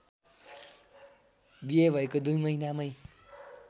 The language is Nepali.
बिहे भएको दुई महिनामै